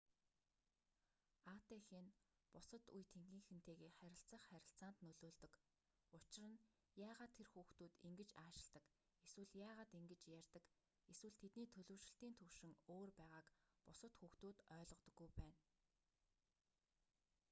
атх нь бусад үе тэнгийнхэнтэйгээ харилцах харилцаанд нөлөөлдөг учир нь яагаад тэр хүүхдүүд ингэж аашилдаг эсвэл яагаад ингэж ярьдаг эсвэл тэдний төлөвшилтийн түвшин өөр байгааг бусад хүүхдүүд ойлгодоггүй байна